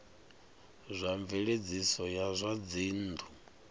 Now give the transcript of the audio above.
zwa mveledziso ya zwa dzinnu